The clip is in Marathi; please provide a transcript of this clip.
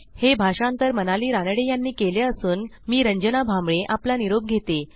हे भाषांतर मनाली रानडे यांनी केले असून मी रंजना भांबळे आपला निरोप घेते